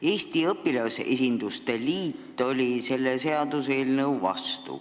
Eesti Õpilasesinduste Liit oli selle seaduseelnõu vastu.